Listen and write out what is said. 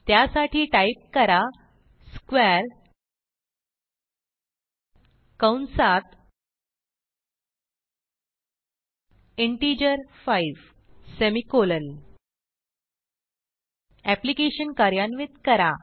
त्यासाठी टाईप करा स्क्वेअर कंसात इंटिजर 5सेमिकोलॉन एप्लिकेशन कार्यान्वित करा